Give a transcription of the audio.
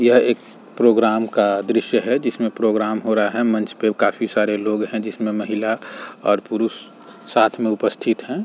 यह एक प्रोग्राम का दृश्य है। जिसमें प्रोग्राम हो रहा है। मंच पर काफी सारे लोग हैं। जिसमें महिला और पुरूष साथ में उपस्थित हैं।